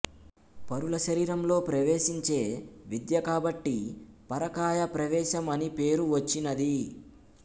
పరుల శరీరంలో ప్రవేశించే విద్య కాబట్టి పర కాయ ప్రవేశం అని పేరువచ్చినది